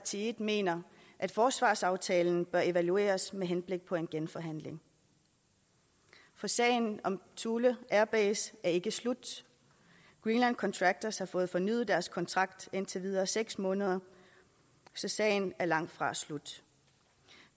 side mener at forsvarsaftalen bør evalueres med henblik på en genforhandling for sagen om thule air base er ikke slut greenland contractors har fået fornyet deres kontrakt i indtil videre seks måneder så sagen er langtfra slut